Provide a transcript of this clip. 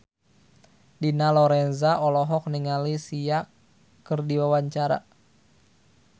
Dina Lorenza olohok ningali Sia keur diwawancara